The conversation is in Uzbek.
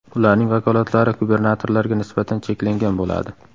Ularning vakolatlari gubernatorlarga nisbatan cheklangan bo‘ladi.